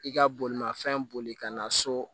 I ka bolimafɛn boli ka na so